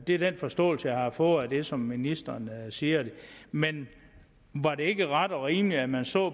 er den forståelse jeg har fået af det som ministeren siger men var det ikke ret og rimeligt at man så